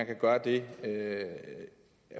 kan gøre det